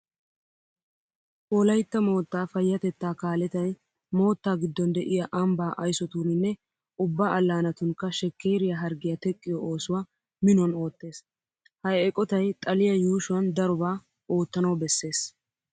Wolaytta moottaa payyatettaa kaaletay moottaa giddon de'iya ambbaa aysotuuninne ubba allaanatunkka shekkeeriya harggiya teqqiyo oosuwa minuwan oottees. Ha eqotay xaliya yuushuwan darobaa oottanawu bessees.